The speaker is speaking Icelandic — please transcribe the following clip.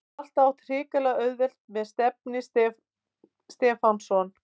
Hef alltaf átt hrikalega auðvelt með Stefni Stefánsson.